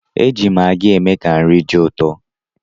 E ji magị eme ka nri dị ụtọ.